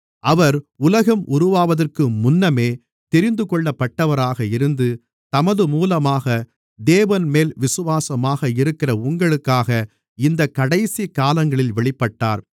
அவர் உலகம் உருவாவதற்கு முன்னமே தெரிந்துகொள்ளப்பட்டவராக இருந்து தமது மூலமாக தேவன்மேல் விசுவாசமாக இருக்கிற உங்களுக்காக இந்தக் கடைசிக்காலங்களில் வெளிப்பட்டார்